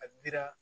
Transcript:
A dira